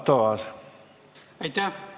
Aitäh!